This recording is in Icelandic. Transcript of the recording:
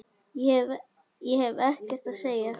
Ég hef ekkert að segja.